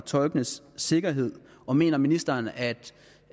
tolkenes sikkerhed og mener ministeren